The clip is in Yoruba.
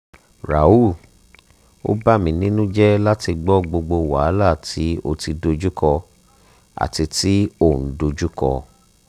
rahul o bamininujẹ lati gbọ gbogbo wahala ti o ti dojuko ati ti o n dojuko